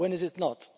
When is it not?